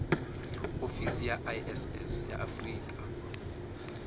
ofisi ya iss ya afrika